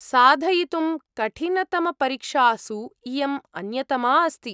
साधयितुं कठिनतमपरीक्षासु इयम् अन्यतमा अस्ति।